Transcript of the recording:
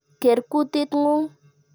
Ker kutit ng'ung' !